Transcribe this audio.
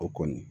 O kɔni